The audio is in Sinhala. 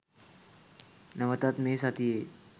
නැවතත් මේ සතියේ